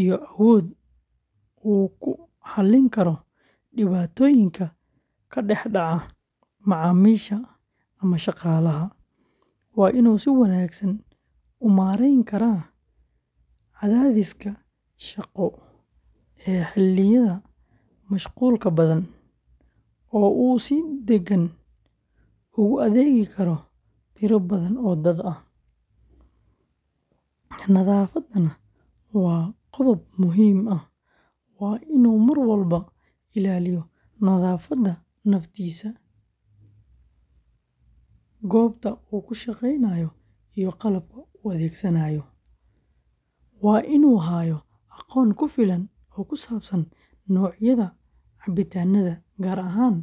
iyo awood uu ku xallin karo dhibaatooyinka ka dhex dhaca macaamiisha ama shaqaalaha. Waa inuu si wanaagsan u maareyn karaa cadaadiska shaqo ee xilliyada mashquulka badan, oo uu si degan ugu adeegi karo tiro badan oo dad ah. Nadaafadana waa qodob muhiim ah; waa inuu mar walba ilaaliyo nadaafadda naftiisa, goobta uu ka shaqeynayo iyo qalabka uu adeegsanayo. Waa inuu hayaa aqoon ku filan oo ku saabsan noocyada cabitaanada, gaar ahaan.